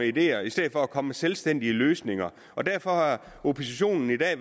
ideer i stedet for at komme med selvstændige løsninger derfor har oppositionen i dag